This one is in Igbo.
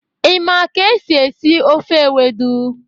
Ị ma ka esi esi ofe ewedu?